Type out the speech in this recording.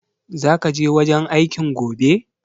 Zaka je wajen aikin gobe?